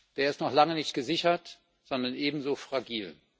Der ist noch lange nicht gesichert, sondern ebenso fragil.